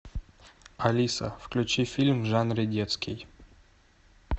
алиса включи фильм в жанре детский